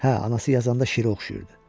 Hə, anası yazanda şirə oxşayırdı.